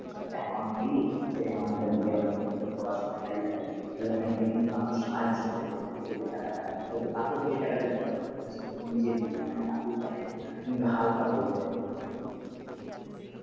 কিছু একটা amount পেলি, সেই amount টা দিয়ে হয়তো তুই তোর পড়াশোনার কাজে লাগালে. ফলে অনেকটা কিন্তু কাকুর সাহায্য হবে, মানে তোকে যে টাকাটা~ হয়তো কাকুকে এই টাকাটা জোগাড় করতে হবে, সেটা তুই নিজে করলি মানে কাকুকে অনেকটা হালকা হয়ে যাবে আর কি.